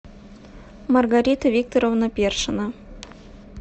маргарита викторовна першина